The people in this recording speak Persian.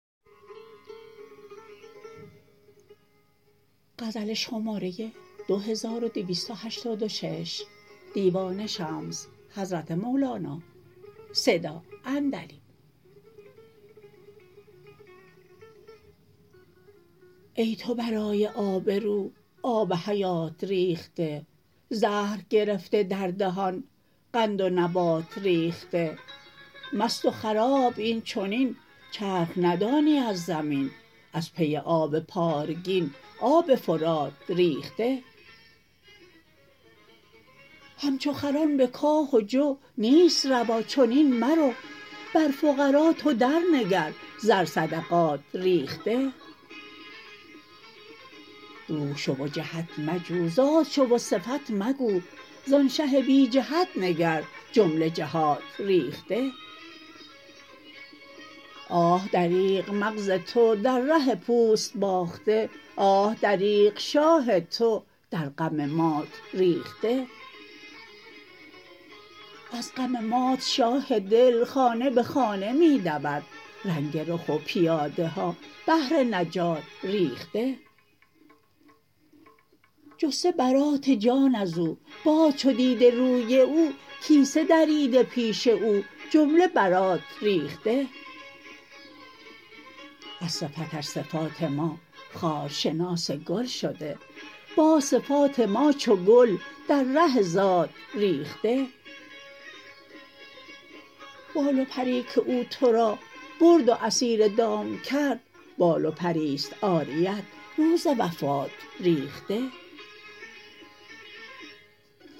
ای تو برای آبرو آب حیات ریخته زهر گرفته در دهان قند و نبات ریخته مست و خراب این چنین چرخ ندانی از زمین از پی آب پارگین آب فرات ریخته همچو خران به کاه و جو نیست روا چنین مرو بر فقرا تو درنگر زر صدقات ریخته روح شو و جهت مجو ذات شو و صفت مگو زان شه بی جهت نگر جمله جهات ریخته آه دریغ مغز تو در ره پوست باخته آه دریغ شاه تو در غم مات ریخته از غم مات شاه دل خانه به خانه می دود رنگ رخ و پیاده ها بهر نجات ریخته جسته برات جان از او باز چو دیده روی او کیسه دریده پیش او جمله برات ریخته از صفتش صفات ما خارشناس گل شده باز صفات ما چو گل در ره ذات ریخته بال و پری که او تو را برد و اسیر دام کرد بال و پری است عاریت روز وفات ریخته